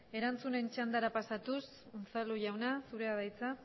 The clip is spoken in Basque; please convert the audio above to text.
erantzunen txandara pasatuz unzalu jauna zurea da hitza